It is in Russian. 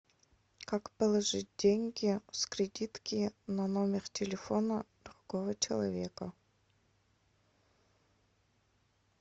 как положить деньги с кредитки на номер телефона другого человека